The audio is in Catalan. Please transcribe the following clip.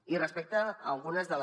i respecte a algunes de les